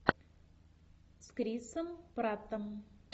с крисом праттом